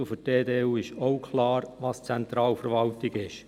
Für die EDU ist auch klar, was Zentralverwaltung ist.